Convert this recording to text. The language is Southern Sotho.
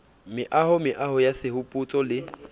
meaho meaho ya sehopotso le